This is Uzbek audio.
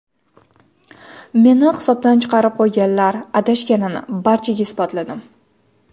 Meni hisobdan chiqarib qo‘yganlar adashganini barchaga isbotladim.